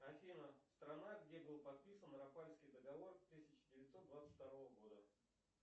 афина страна где был подписан раппальский договор тысяча девятьсот двадцать второго года